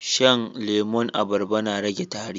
Shan lemon abarba na rage tari